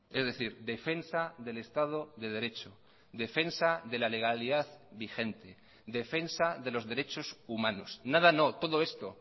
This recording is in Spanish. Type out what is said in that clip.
es decir defensa del estado de derecho defensa de la legalidad vigente defensa de los derechos humanos nada no todo esto